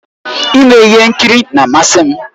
Ime ihe nkiri na-amasị m